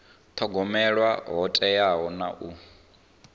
thogomela ho teaho na u